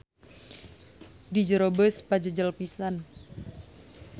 Di jero beus pajejel pisan.